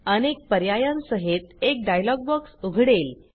अनेक पर्यायांसहित एक डायलॉग बॉक्स उघडेल